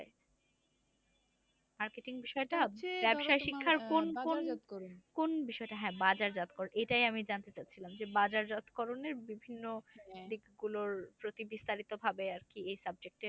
Marketing বিষয়টা ব্যাবসাই শিক্ষার কোন কোন কোন বিষয়টা? হ্যাঁ বাজারজাতকরণ। এটাই আমি জানতে চাচ্ছিলাম যে, বাজারজাতকরণের বিভিন্ন দিকগুলোর প্রতি বিস্তারিতভাবে আর কি এই subject এ